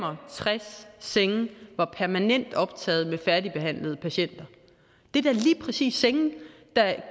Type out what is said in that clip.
og tres senge var permanent optaget med færdigbehandlede patienter det er da lige præcis senge der